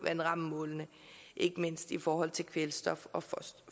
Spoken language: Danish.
vandrammemålene ikke mindst i forhold til kvælstof og